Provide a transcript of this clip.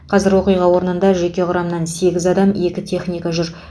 қазір оқиға орнында жеке құрамнан сегіз адам екі техника жүр